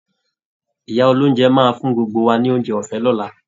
Ìyá olóúnjẹ máa fún gbogbo wa ni oúnjẹ ọ̀fẹ́ lọ́la